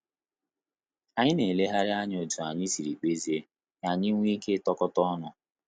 Anyị na eleghari anya otú anyị siri kpezie, ka anyị wee ike itokata ọnụ